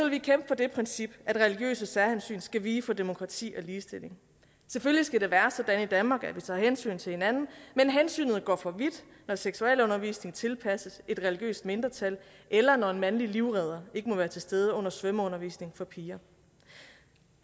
vi kæmpe for det princip at religiøse særhensyn skal vige for demokrati og ligestilling selvfølgelig skal det være sådan i danmark at vi tager hensyn til hinanden men hensynet går for vidt når seksualundervisning tilpasses et religiøst mindretal eller når en mandlig livredder ikke må være til stede under svømmeundervisning for piger